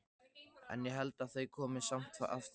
En ég held að þau komi samt aftur